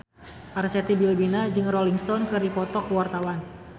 Arzetti Bilbina jeung Rolling Stone keur dipoto ku wartawan